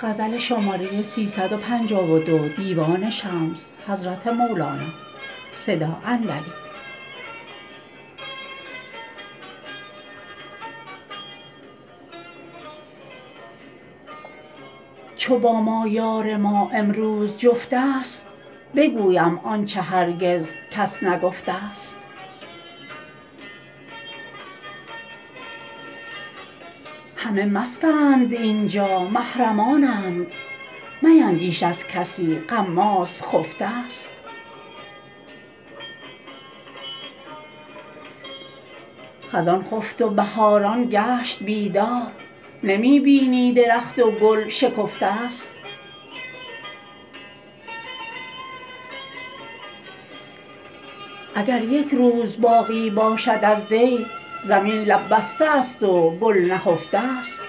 چو با ما یار ما امروز جفتست بگویم آنچ هرگز کس نگفته ست همه مستند این جا محرمانند میندیش از کسی غماز خفته ست خزان خفت و بهاران گشت بیدار نمی بینی درخت و گل شکفته ست اگر یک روز باقی باشد از دی زمین لب بسته است و گل نهفته ست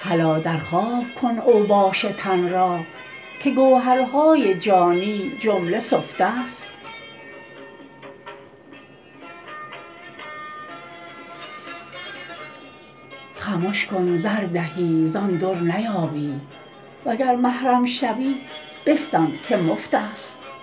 هلا در خواب کن اوباش تن را که گوهرهای جانی جمله سفته ست خمش کن زردهی زان در نیابی وگر محرم شوی بستان که مفتست